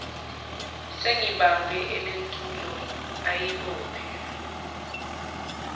sengibambe elentulo ayibophe